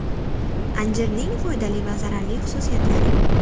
Anjirning foydali va zararli xususiyatlari.